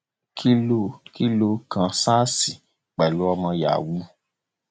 kí ló kí ló kan sars pẹlú ọmọ yahoo